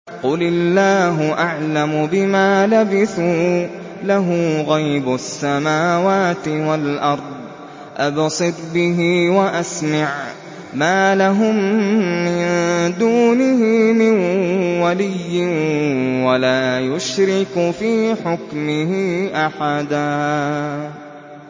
قُلِ اللَّهُ أَعْلَمُ بِمَا لَبِثُوا ۖ لَهُ غَيْبُ السَّمَاوَاتِ وَالْأَرْضِ ۖ أَبْصِرْ بِهِ وَأَسْمِعْ ۚ مَا لَهُم مِّن دُونِهِ مِن وَلِيٍّ وَلَا يُشْرِكُ فِي حُكْمِهِ أَحَدًا